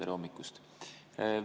Tere hommikust!